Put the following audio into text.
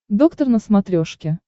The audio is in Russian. доктор на смотрешке